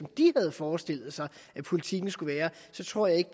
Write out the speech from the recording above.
de havde forestillet sig at politikken skulle være så tror jeg